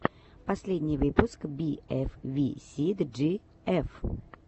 последний выпуск би эф ви си джи эф